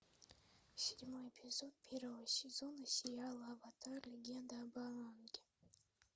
седьмой эпизод первого сезона сериала аватар легенда об аанге